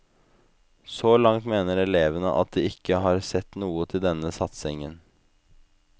Så langt mener elevene at de ikke har sett noe til denne satsingen.